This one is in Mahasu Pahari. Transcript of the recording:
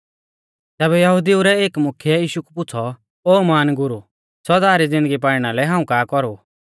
तैबै यहुदिऊ रै एक मुख्यै यीशु कु पुछ़ौ ओ महान गुरु सौदा री ज़िन्दगी पाइणा लै हाऊं का कौरु